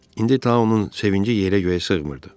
İndi Tauun sevinci yerə-göyə sığmırdı.